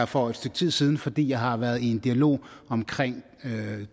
for et stykke tid siden fordi jeg har været i en dialog om